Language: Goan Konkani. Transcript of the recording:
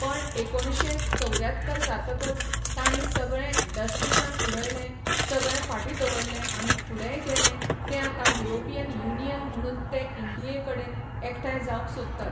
पण एकोणशे चौऱ्यातर जातकच तांणी सगळें डस्टबीनान उडयलें सगळें फाटीं दवरलें आनी फुडेंय गेले ते आतां युरोपियन युनियन म्हणून ते इंडिये कडेन एकठाय जावंक सोदतात